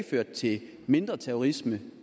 ført til mindre terrorisme